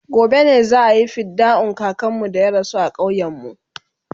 gobe ne za'ayi fidda'un kakanmu da ya rasu a ƙauyen mu